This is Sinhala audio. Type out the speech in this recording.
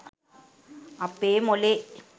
අපේ මොලේ